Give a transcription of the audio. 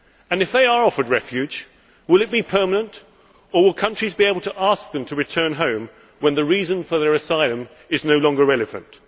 If they are offered refuge, will it be permanent or will countries be able to ask them to return home when the reason for their asylum is no longer relevant?